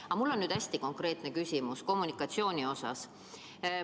Aga mul on hästi konkreetne küsimus kommunikatsiooni kohta.